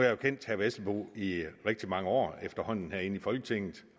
jo kendt herre vesselbo i rigtig mange år efterhånden herinde i folketinget